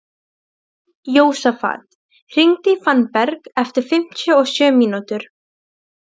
Jósafat, hringdu í Fannberg eftir fimmtíu og sjö mínútur.